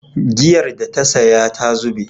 Giyar da ta saya ta zube